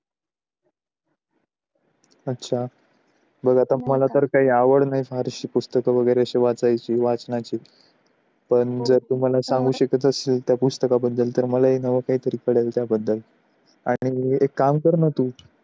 मला तर काही आवड नाही फार अशी पुस्तके वगैरे असे वाचायची वाचण्याची पण जर तू मला सांगू शकत अशील तर त्या पुस्तकाबद्दल मलाही नवं काहीतरी कळेल त्याबद्दल, आणि एक काम कर ना तू,